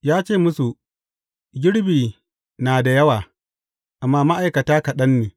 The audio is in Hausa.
Ya ce musu, Girbi na da yawa, amma ma’aikata kaɗan ne.